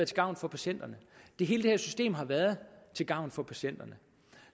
til gavn for patienterne hele det her system har været til gavn for patienterne